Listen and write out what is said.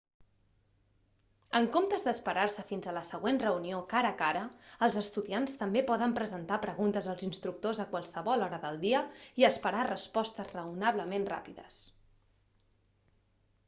en comptes d'esperar-se fins a la següent reunió cara a cara els estudiants també poden presentar preguntes als instructors a qualsevol hora del dia i esperar respostes raonablement ràpides